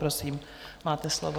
Prosím, máte slovo.